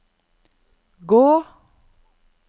gå